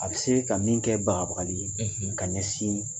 A bɛ se ka min kɛ bagabagali ye ka ɲɛsin